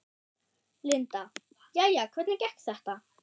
Linda: Jæja, hvernig gekk þetta?